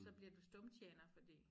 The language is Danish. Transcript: Så bliver du stumtjener fordi